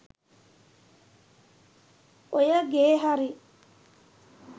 ඔය ගේ හරි